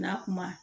N'a kuma